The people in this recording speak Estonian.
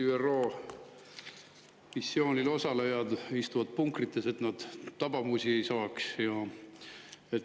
ÜRO missioonil osalejad istuvad punkrites, et nad tabamusi ei saaks.